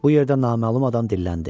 Bu yerdə naməlum adam dilləndi.